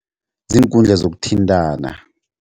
Ziinkundla zokuthintana.